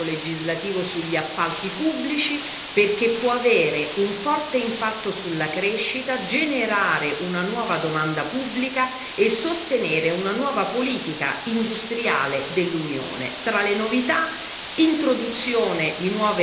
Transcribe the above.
Proprio per questo è importante il nuovo pacchetto legislativo sugli appalti pubblici, perché può avere un forte impatto sulla crescita, generare una nuova domanda pubblica e sostenere una nuova politica industriale dell'Unione.